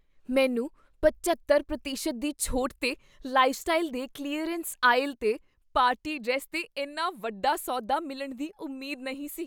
ਮੈਨੂੰ ਪਝੱਤਰ ਪ੍ਰਤੀਸ਼ਤ ਦੀ ਛੋਟ 'ਤੇ ਲਾਈਫਸਟਾਈਲ ਦੇ ਕਲੀਅਰੈਂਸ ਆਇਲ 'ਤੇ ਪਾਰਟੀ ਡਰੈੱਸ 'ਤੇ ਇੰਨਾ ਵੱਡਾ ਸੌਦਾ ਮਿਲਣ ਦੀ ਉਮੀਦ ਨਹੀਂ ਸੀ